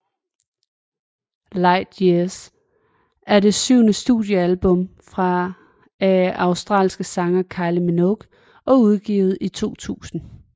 Light Years er det syvende studiealbum af australske sanger Kylie Minogue og blev udgivet i 2000